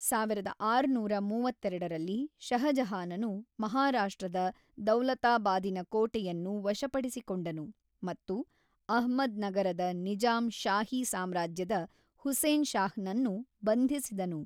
ಸಾವಿರದ ಆರುನೂರ ಮೂವತ್ತೆರಡರಲ್ಲಿ, ಷಹಜಹಾನನು ಮಹಾರಾಷ್ಟ್ರದ ದೌಲತಾಬಾದಿನ ಕೋಟೆಯನ್ನು ವಶಪಡಿಸಿಕೊಂಡನು ಮತ್ತು ಅಹ್ಮದ್‌ನಗರದ ನಿಜಾಂ ಶಾಹಿ ಸಾಮ್ರಾಜ್ಯದ ಹುಸೇನ್ ಶಾಹನನ್ನು ಬಂಧಿಸಿದನು.